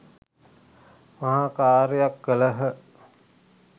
මහා කාර්යයක් කළහ.